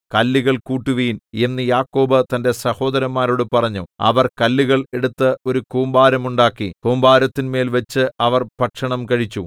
കല്ലുകൾ കൂട്ടുവിൻ എന്നു യാക്കോബ് തന്റെ സഹോദരന്മാരോട് പറഞ്ഞു അവർ കല്ലുകൾ എടുത്ത് ഒരു കൂമ്പാരമുണ്ടാക്കി കൂമ്പാരത്തിന്മേൽവച്ച് അവർ ഭക്ഷണം കഴിച്ചു